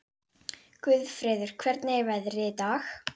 Guðfreður, hvernig er veðrið í dag?